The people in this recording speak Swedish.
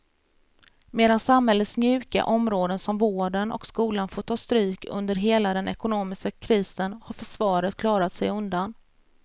Medan samhällets mjuka områden som vården och skolan fått ta stryk under hela den ekonomiska krisen har försvaret klarat sig undan.